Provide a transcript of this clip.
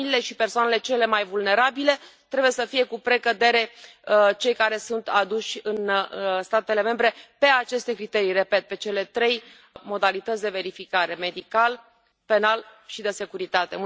Familiile și persoanele cele mai vulnerabile trebuie să fie cu precădere cei care sunt aduși în statele membre pe aceste criterii, repet, pe cele trei modalități de verificare medicală, penală și de securitate.